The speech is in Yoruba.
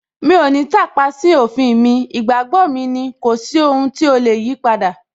Mi ò ní tàpá sí òfin mi, ìgbàgbọ́ mi ni, kò sí ohun tí ó lè yipadà